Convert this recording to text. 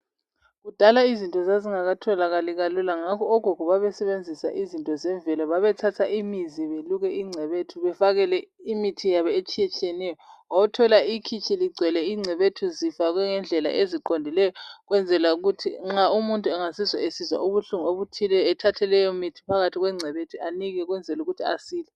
Kudala izinto zazingakatholakali kalula. Ngakho ogogo babesebenzisa izinto zemvelo. Babethatha imizi, beluke ingcebethu. Bafakele imithi yabo etshiyatshiyeneyo. Wawuthola ikhitshi ligcwele ingcebethu, zifakwe ngendlela eziqondileyo. Ukwenzela ukuthi nxa umuntu angazizwa esizwa ubuhlungu obuthile, ethathe leyomithi, phakathi kwengcebethu, anikwe. Ukwenzela ukuthi asile.